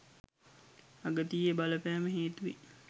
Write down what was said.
අගතියේ බලපෑම හේතුවෙන්